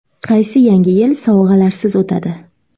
Qaysi Yangi yil sovg‘alarsiz o‘tadi?